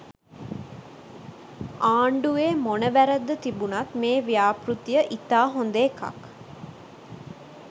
ආණ්ඩුවේ මොන වැරැද්ද තිබුණත් මේ ව්‍යාපෘතිය ඉතා හොඳ එකක්.